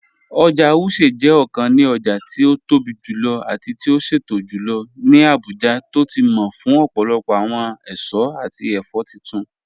Oja Wuse jẹ ọkàn ní ọja ti o tóbi jùlọ̀ àti ti o ṣẹtọ̀ jùlọ̀ ní Abuja tó ti mọ̀ fún ọpọlọpọ awọn èṣọ̀ àti ẹfọ̀ títún